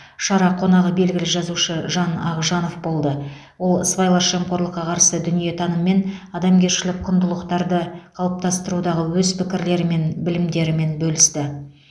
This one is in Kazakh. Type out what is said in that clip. шара қонағы белгілі жазушы жан ақжанов болды ол сыбайлас жемқорлыққа қарсы дүниетаным мен адамгершілік құндылықтарды қалыптастырудағы өз пікірлері мен білімдерімен бөлісті